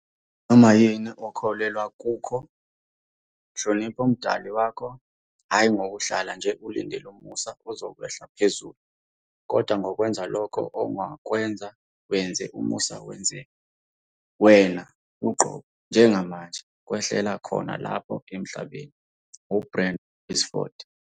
Noma yini okholelwa kukho, hlonipha umdali wakho, hhayi ngokuhlala nje ulindele umusa uzokwehla phezulu, kodwa ngokwenza lokho ongakwenza wenze umusa wenzeke, wena uqobo, njengamanje, kwehlele khona lapha eMhlabeni. - u-Bradley Whitford.